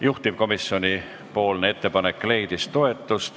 Juhtivkomisjoni ettepanek leidis toetust.